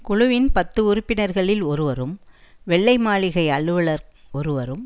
குழுவின் பத்து உறுப்பினர்களில் ஒருவரும் வெள்ளை மாளிகை அலுவலர் ஒருவரும்